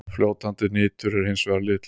Fljótandi nitur er hins vegar litlaust.